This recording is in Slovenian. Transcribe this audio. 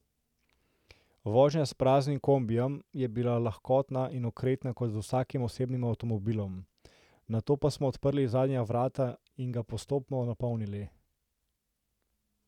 Vožnja s praznim kombijem je bila lahkotna in okretna kot z vsakim osebnim avtomobilom, nato pa smo odprli zadnja vrata in ga postopno napolnili.